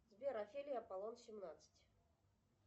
сбер офелия аполлон семнадцать